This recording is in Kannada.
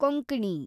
ಕೊಂಕಣಿ